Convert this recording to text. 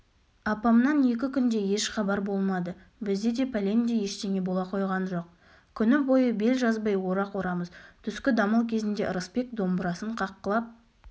апамнан екі күндей еш хабар болмады бізде де пәлендей ештеңе бола қойған жоқ күні бойы бел жазбай орақ орамыз түскі дамыл кезінде ырысбек домбырасын қаққылап